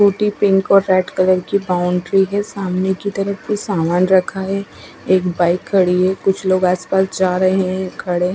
टूटी पिंक और red colour की बाउंड्री है सामने की तरफ कुछ सामन रखा है एक बाइक खड़ी है कुछ लोग आस पास जा रहे है खड़े है।